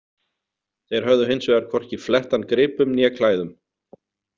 Þeir höfðu hins vegar hvorki flett hann gripum né klæðum.